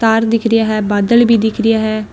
तार दिखरा है बादल भी दिखरा है।